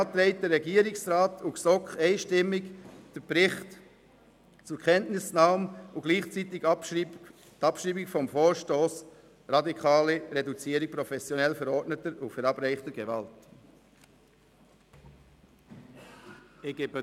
Daher beantragen der Regierungsrat und die GSoK einstimmig, den Bericht zur Kenntnis zu nehmen und gleichzeitig den Vorstoss «Radikale Reduzierung professionell verordneter und verabreichter Gewalt» abzuschreiben.